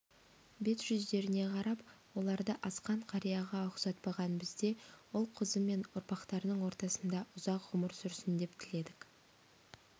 бет-жүздеріне қарап оларды асқан қарияға ұқсатпаған бізде ұл-қызы мен ұрпақтарының ортасында ұзақ ғұмыр сүрсін деп тіледік